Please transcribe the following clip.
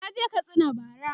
naje Katsina bara